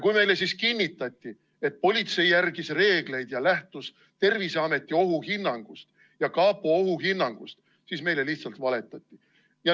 Kui meile siis kinnitati, et politsei järgis reegleid ja lähtus Terviseameti ja kapo ohuhinnangust, siis meile lihtsalt valetati.